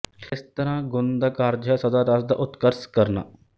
ਇਸ ਤਰ੍ਹਾ ਗੁਣ ਦਾ ਕਾਰਜ ਹੈ ਸਦਾ ਰਸ ਦਾ ਉਤਕਰਸ ਕਰਨਾ